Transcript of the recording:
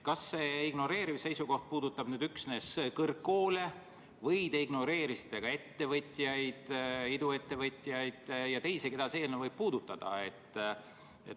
Kas see ignoreeriv seisukoht puudutab üksnes kõrgkoole või te ignoreerisite ka ettevõtjaid, sh iduettevõtjaid ja teisi, keda see eelnõu võib puudutada?